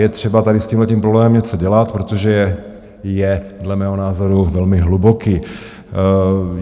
Je třeba tady s tímhle problém něco dělat, protože je dle mého názoru velmi hluboký.